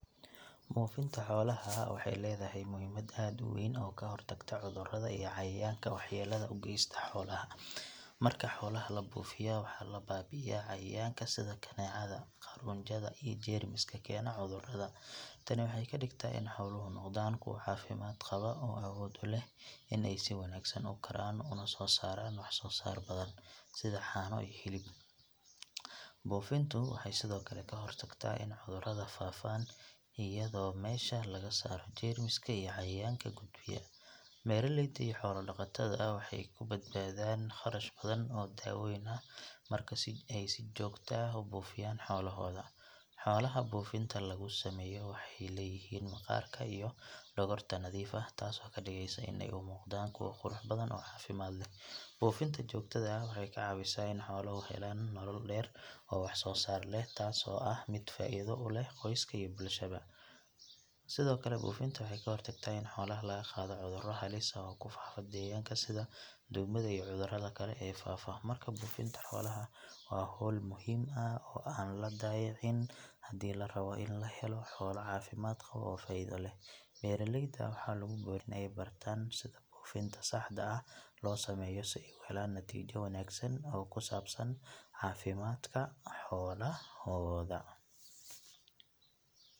Buufinta xoolaha waxay leedahay muhiimad aad u weyn oo ka hortagta cudurrada iyo cayayaanka waxyeelada u geysta xoolaha. Marka xoolaha la buufiyo waxaa la baabi’iyaa cayayaanka sida kaneecada, quraanjada iyo jeermiska keena cudurrada. Tani waxay ka dhigtaa in xooluhu noqdaan kuwo caafimaad qaba oo awood u leh in ay si wanaagsan u koraan una soo saaraan wax soo saar badan sida caano iyo hilib. Buufintu waxay sidoo kale ka hortagtaa in cudurrada faafaan iyadoo meesha laga saaro jeermiska iyo cayayaanka gudbiya. Beeraleyda iyo xoolo dhaqatada waxay ku badbaadaan kharash badan oo dawooyin ah marka ay si joogto ah u buufiyaan xoolahooda. Xoolaha buufinta lagu sameeyo waxay leeyihiin maqaarka iyo dhogorta nadiif ah taasoo ka dhigaysa in ay u muuqdaan kuwo qurux badan oo caafimaad leh. Buufinta joogtada ah waxay ka caawisaa in xooluhu helaan nolol dheer oo wax soo saar leh, taasoo ah mid faa’iido u leh qoyska iyo bulshaba. Sidoo kale buufinta waxay ka hortagtaa in xoolaha laga qaado cuduro halis ah oo ku faafa deegaanka sida duumada iyo cudurrada kale ee faafa. Markaa buufinta xoolaha waa hawl muhiim ah oo aan la dayicin haddii la rabo in la helo xoolo caafimaad qaba oo faa’iido leh. Beeraleyda waxaa lagu boorinayaa in ay bartaan sida buufinta saxda ah loo sameeyo si ay u helaan natiijo wanaagsan oo ku saabsan caafimaadka xoolahooda.